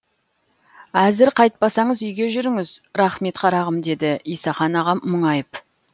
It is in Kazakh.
әзір қайтпасаңыз үйге жүріңіз рақмет қарағым деді исақан ағам мұңайып